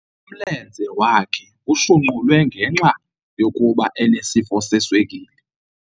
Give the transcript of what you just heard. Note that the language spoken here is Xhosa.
Umlenze wakhe ushunqulwe ngenxa yokuba enesifo seswekile.